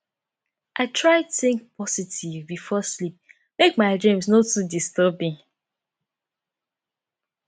i try think positive before sleep make my dreams no too disturbing